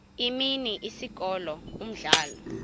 imini isikolo umdlalo